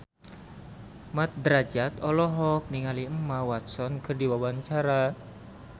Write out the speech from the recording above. Mat Drajat olohok ningali Emma Watson keur diwawancara